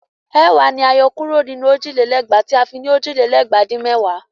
Ẹ̀wàá la yọ kúrò nínú òjì lé lẹ́gbàá tí a fi ní òjì lé lẹ́gbàá dín mẹ́wàá.